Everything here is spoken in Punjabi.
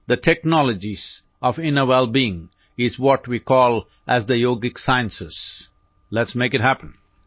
the technologies of inner wellbeing are what we call as the yogic sciences letਸ ਮੇਕ ਇਤ ਹੈਪਨ